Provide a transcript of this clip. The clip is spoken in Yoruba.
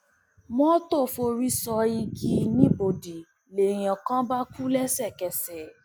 mọtò forí sọ igi nìbòdì lèèyàn kan bá kú lẹsẹkẹsẹ